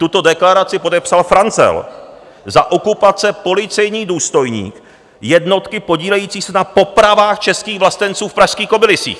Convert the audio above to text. Tuto deklaraci podepsal Franzel, za okupace policejní důstojník jednotky podílející se na popravách českých vlastenců v pražských Kobylisích.